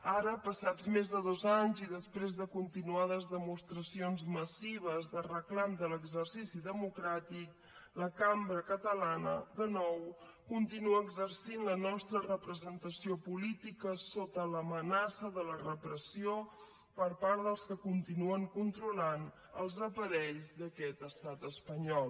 ara passats més de dos anys i després de continuades demostracions massives de reclam de l’exercici democràtic la cambra catalana de nou continua exercint la nostra representació política sota l’amenaça de la repressió per part dels que continuen controlant els aparells d’aquest estat espanyol